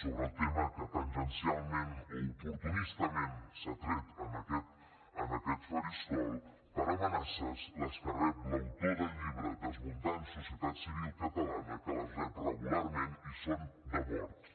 sobre el tema que tangencialment o oportunistament s’ha tret en aquest faristol per amenaces les que rep l’autor del llibre desmuntant societat civil catalana que les rep regularment i són de mort